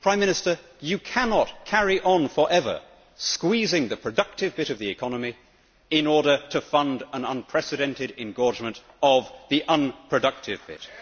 Prime Minister, you cannot carry on for ever squeezing the productive bit of the economy in order to fund an unprecedented engorgement of the unproductive bit.